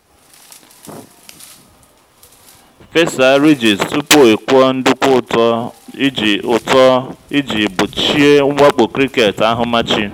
fesa ridges tupu ị kụọ nduku ụtọ iji ụtọ iji gbochie mwakpo cricket ahumachi.